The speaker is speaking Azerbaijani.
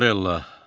Morella.